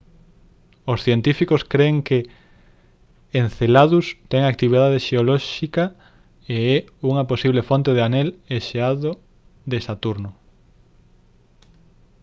os científicos cren que enceladus ten actividade xeolóxica e é unha posible fonte do anel e xeado de saturno